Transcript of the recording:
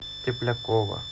теплякова